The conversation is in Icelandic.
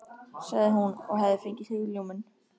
sagði hún og hafði fengið hugljómun.